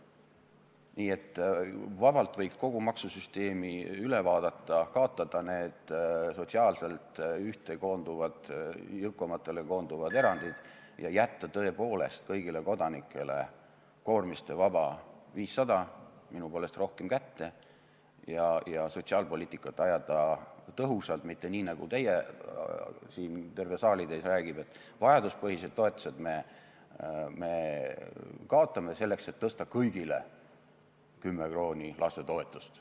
Nii et vabalt võiks kogu maksusüsteemi üle vaadata, kaotada need sotsiaalselt jõukamatele koonduvad erandid, jätta tõepoolest kõigile kodanikele koormistevaba 500 eurot minu poolest rohkem kätte ja sotsiaalpoliitikat ajada tõhusalt, mitte nii, nagu siin terve saalitäis räägib, et vajaduspõhised toetused me kaotame, selleks et tõsta kõigil 10 eurot lastetoetust.